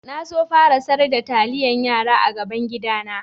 Na so fara sar da talliyan yara a gaban gida na.